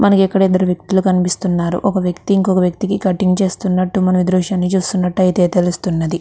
మనకి ఇక్కడ ఇద్దరు వ్యక్తులు కనిపిస్తున్నారు ఒక వ్యక్తి ఇంకొక వ్యక్తికి కటింగ్ చేస్తున్నట్టు మనం ఈ దృశ్యాన్ని చూస్తున్నట్టాయితే తెలుస్తున్నది.